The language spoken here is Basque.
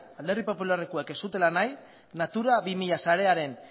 alderdi popularrekoek ez zutela nahi natura bi mila sarearen